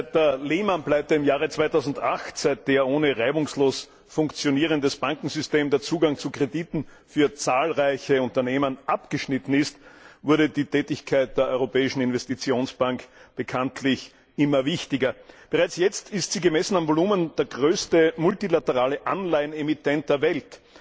Seit der Lehman Pleite im Jahre 2008, seit der ohne reibungslos funktionierendes Bankensystem der Zugang zu Krediten für zahlreiche Unternehmen abgeschnitten ist, wurde die Tätigkeit der Europäischen Investitionsbank bekanntlich immer wichtiger. Bereits jetzt ist sie, gemessen an dem Volumen, der größte multilaterale Anleihenemittent der Welt.